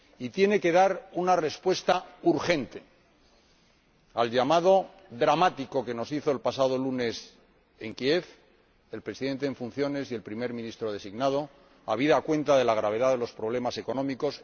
La Unión Europea tiene que dar una respuesta urgente al llamamiento dramático que nos hizo el pasado lunes en Kiev el Presidente en funciones y Primer Ministro designado, habida cuenta de la gravedad de los problemas económicos.